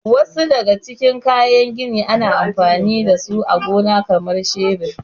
Wasu daga cikin kayan gini ana anfani da su a gona kamar shebir.